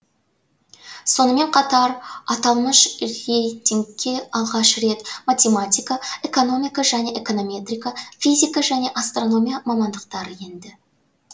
сонымен қатар аталмыш рейтингке алғаш рет математика экономика және эконометрика физика және астрономия мамандықтары енді